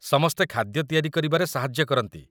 ସମସ୍ତେ ଖାଦ୍ୟ ତିଆରି କରିବାରେ ସାହାଯ୍ୟ କରନ୍ତି ।